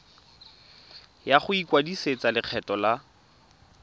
ya go ikwadisetsa lekgetho la